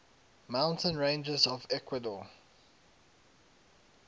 mountain ranges of ecuador